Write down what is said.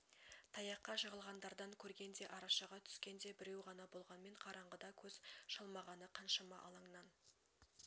таяққа жығылғандардан көрген де арашаға түскен де біреу ғана болғанмен қараңғыда көз шалмағаны қаншама алаңнан